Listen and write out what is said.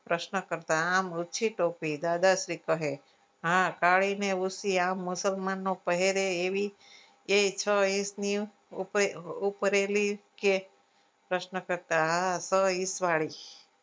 પ્રશ્ન કરતા આ હતો ટોપી દાદાશ્રી કહે હા કાળીન મુસલમાનનો પહેરે એવી એ ઉપરેલી પ્રશ્ન કરતા